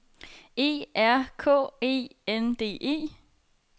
E R K E N D E